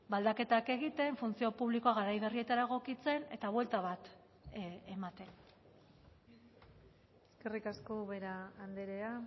aldaketak egiten funtzio publikoa garai berrietara egokitzen eta buelta bat ematen eskerrik asko ubera andrea